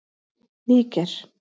Níger